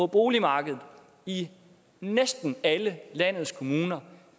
boligmarkedet i næsten alle landets kommuner